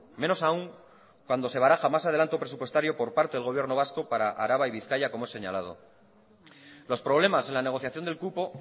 menos aún cuando se baraja más adelanto presupuestario por parte del gobierno vasco para araba y bizkaia como es señalado los problemas en la negociación del cupo